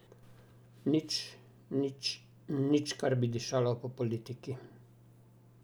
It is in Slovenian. Nič, nič, nič, kar bi dišalo po politiki.